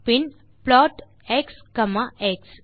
bin plot x comma X